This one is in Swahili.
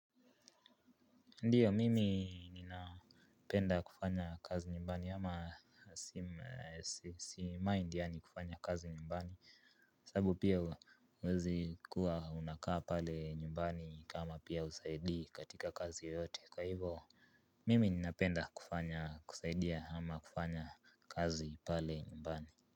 Ndio mimi ninapenda kufanya kazi nyumbani ama si mind yani kufanya kazi nyumbani. Sababu pia huwezi kuwa unakaa pale nyumbani kama pia husaidii katika kazi yoyote kwa hivyo. Mimi ninapenda kufanya kusaidia ama kufanya kazi pale nyumbani.